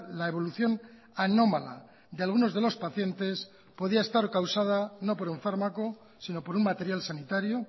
la evolución anómala de algunos de los pacientes podía estar causada no por un fármaco sino por un material sanitario